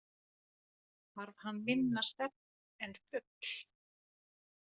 Þarf hann minna svefn en fugl.